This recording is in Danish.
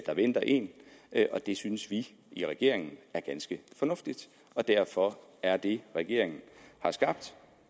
der venter en og det synes vi i regeringen er ganske fornuftigt og derfor er det regeringen har skabt